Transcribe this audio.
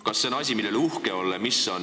Kas see on asi, mille üle uhke olla?